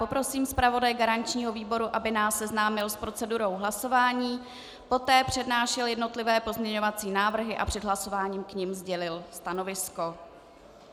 Poprosím zpravodaje garančního výboru, aby nás seznámil s procedurou hlasování, poté přednášel jednotlivé pozměňovací návrhy a před hlasováním k nim sdělil stanovisko.